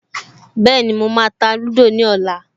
Bẹ́ẹ̀ni, mo máa ta lúdò ní ọ̀la